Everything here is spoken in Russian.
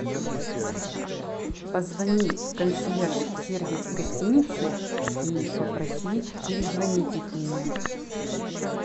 позвони в консьерж сервис гостиницы и попроси перезвонить их мне